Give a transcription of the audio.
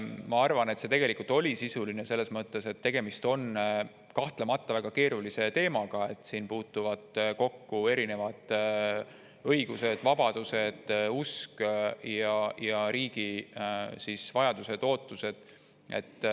Ma arvan, et see tegelikult oli sisuline, selles mõttes, et tegemist on kahtlemata väga keerulise teemaga, siin puutuvad kokku erinevad õigused ja vabadused, usk ning riigi vajadused ja ootused.